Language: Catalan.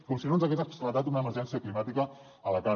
com si no ens hagués esclatat una emergència climàtica a la cara